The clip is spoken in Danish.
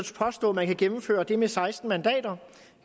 påstå at man kan gennemføre det med seksten mandater